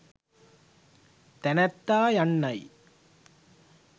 තැනැත්තා යන්නයි.